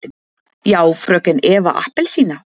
Já, fröken Eva appelsína?